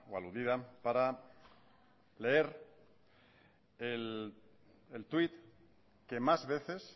aludida para leer el twit que más veces